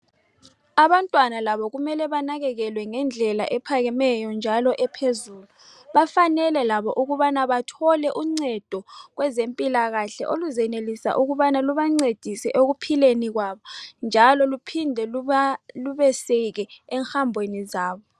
Abantwana labo kumele banakekelwe ngendlela ephakemeyo njalo ephezulu bafanele labo ukubana bathole uncedo kwezempilakahle oluzenelisa ukubana lubancedise ekuphileni kwabo njalo luphinde luba lubeseke eng'hambeni zabo.